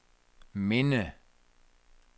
minde